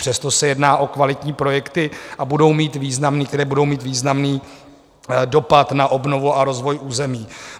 Přesto se jedná o kvalitní projekty, které budou mít významný dopad na obnovu a rozvoj území.